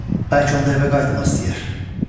Bəlkə onda evə qayıtmaq istəyər.